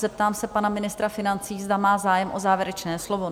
Zeptám se pana ministra financí, zda má zájem o závěrečné slovo?